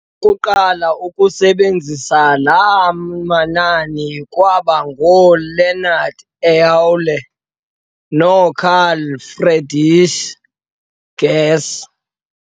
Abantu bokuqala ukusebenzisa laa manani kwaba ngoo-e Leonard Euler no-Carl Friedrich Gauss.